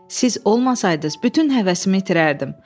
Siz olmasaydınız bütün həvəsimi itirərdim.